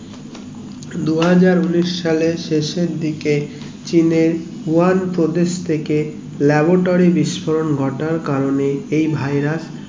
দুহাজার উনিশ সালে শেষের দিকে চীনের ওয়াং প্রদেশ থেকে laboratory বিস্ফোরণ ঘটার কারণে এই virus